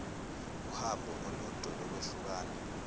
uhambo olude lokwehlukana